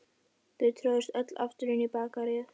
Þau tróðust öll aftur inn í Bakaríið.